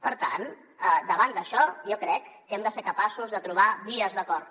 per tant davant d’això jo crec que hem de ser capaços de trobar vies d’acord